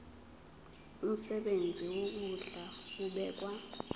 umsebenzi wokondla ubekwa